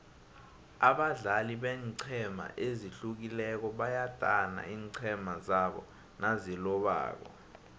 abadlali beenqhema ezihlukileko bayadana iinqhema zabo nazilobako